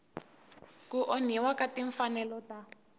ku onhiwa ka timfanelo ta